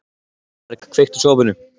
Þorberg, kveiktu á sjónvarpinu.